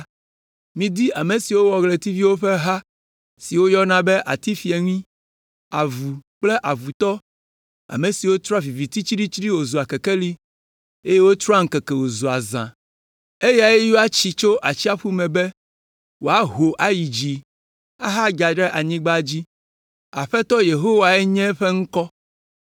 Midi ame si wɔ ɣletiviwo ƒe ha siwo woyɔna be atifieŋui, avu kple avutɔ, ame si trɔa viviti tsiɖitsiɖi wòzua kekeli, eye wòtrɔa ŋkeke wòzua zã. Eyae yɔa tsi tso atsiaƒu me be wòaho ayi dzi ahadza ɖe anyigba dzi. Aƒetɔ Yehowae nye eƒe ŋkɔ.